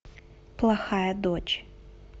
плохая дочь